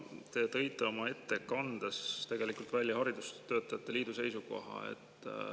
Te tõite oma ettekandes välja haridustöötajate liidu seisukoha.